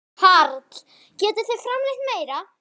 Karl: Getið þið framleitt meira?